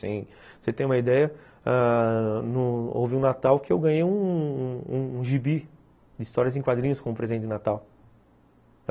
Você tem uma ideia ãh no houve um natal que eu ganhei um gibi de histórias em quadrinhos como presente de natal.